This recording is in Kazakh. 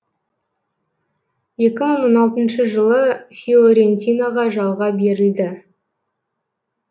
екі мың он алтыншы жылы фиорентинаға жалға берілді